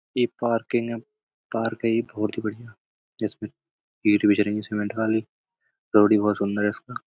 ये park park है ये बोहोत ही बढ़िया जिसमें सीमेन्ट वाली। रोड भी बोहोत सुन्दर है इसका।